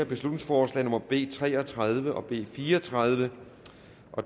beslutningsforslag nummer b tre og tredive og b fire og tredive